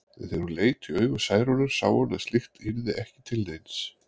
En þegar hún leit í augu Særúnar sá hún að slíkt yrði ekki til neins.